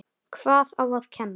Hvað á að kenna?